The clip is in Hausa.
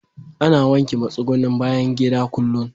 Ana wanke matsugunnin bayan gida kullum.